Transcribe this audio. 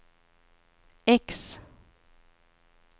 X